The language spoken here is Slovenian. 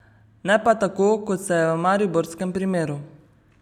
Ne pa tako, kot se je v mariborskem primeru ...